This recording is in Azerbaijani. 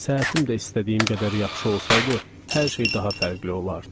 Səhətim də istədiyim qədər yaxşı olsaydı, hər şey daha fərqli olardı.